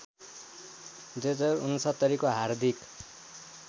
२०६९को हार्दिक